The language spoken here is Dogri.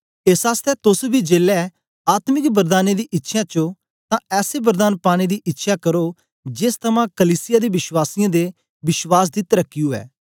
एस आसतै तोस बी जेलै आत्मिक वरदानें दी इच्छ्यां च ओं तां ऐसे वरदान पानें दी इच्छ्यां करो जेस थमां कलीसिया दे वश्वासीयें दे विश्वास दी तरकी उवै